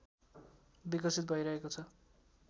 विकसित भैरहेको छ